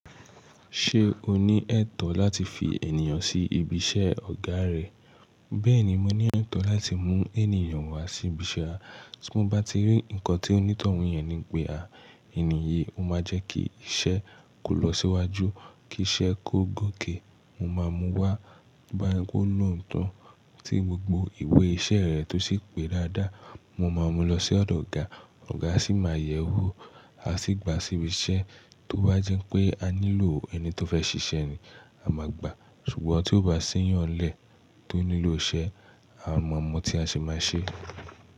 Ṣé o ní ẹ̀tọ́ láti fi ènìyàn sí ibi iṣẹ́ ọ̀gá rẹ? Bẹ́ẹ̀ni, mo ní ẹ̀tọ́ láti mú ènìyàn wá sí ibi iṣẹ́ a. Tí mo bá rí nǹkan tí ó ní tọ̀un yẹn ní npe àà, ènìyí, o máa jẹ́ kí iṣẹ́ kó lọ síwájú, kí iṣẹ́ kó gòkè. Mo máa mú un wá, tó bá ṣe pé ó lóòótọ́, tí gbogbo ìwé iṣẹ́ rẹ̀ tó ṣì pé dáadáa. Mo máa mú un lọ sí ọ̀dọ̀ ọ̀gá, ọ̀gá sì máa yẹ̀ ẹ́ wò, a sì gba sí ibi iṣẹ́. Tó bá jẹ́ pé a nílò ẹni tó fẹ́ ṣiṣẹ́ ni, a máa gba. Ṣùgbọ́n tí ó bá sẹ́yàn nlẹ̀ tó nílò iṣẹ, a mà mọ́ tí a ṣe máa ṣe.